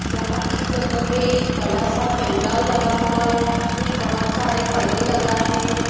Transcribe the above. यहां इस जगह पे एक बड़ा सा पेंडाल लगा हुआ है में बहुत सारे पर्दे लगाएं हए हैं।